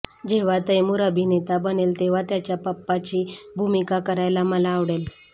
जेव्हा तैमूर अभिनेता बनेल तेव्हा त्याच्या पप्पाची भूमिका करायला मला आवडेल